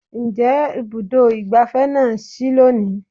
Ǹjẹ́ Ibùdó ìgbáfẹ́ na sí lónìí?